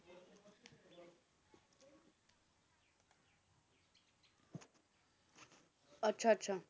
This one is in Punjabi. ਅੱਛਾ ਅੱਛਾ